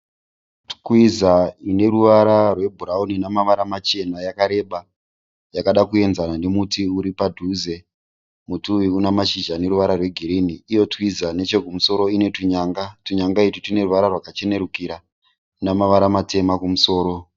Twiza ine ruvara rwebhurawuni namavara machena yakareba yakada kuenzana nemuti uri padhuze muti uyu una mashizha ane ruvara rwegirini iyo twiza nechekumusoro ine tunyanga tunyanga iti tune ruvara rwakachenerukira namavara matema kumusoro.